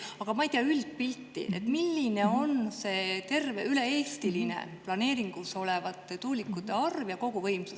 Aga ma ei tea üldpilti, milline on üle-eestiline planeeringus olevate tuulikute arv ja koguvõimsus.